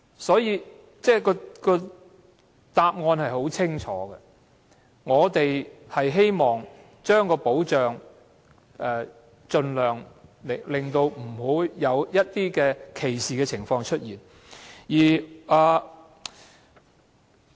所以，答案相當清楚，我們只是希望盡量令保障範圍不會出現歧視的情況。